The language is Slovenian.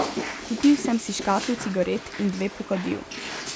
Kupil sem si škatlo cigaret in dve pokadil.